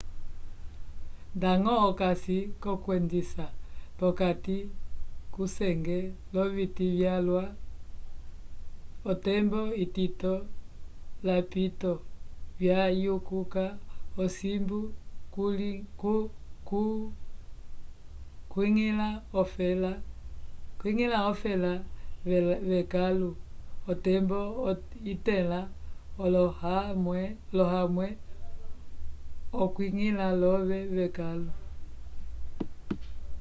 ndañgo okasi l'okwendisa p'okati kusenge l'oviti vyalwa otembo itito lapito vyayikuka osimbu kuñgila ofela v'ekãlu otembo itẽla olohamwẽ okwiñgila l'ove vekãlu